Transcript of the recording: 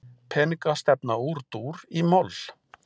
Peningastefna úr dúr í moll